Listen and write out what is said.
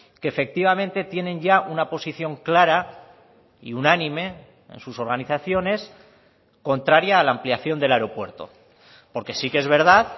que efectivamente tienen ya una posición clara y unánime en sus organizaciones contraria a la ampliación del aeropuerto porque sí que es verdad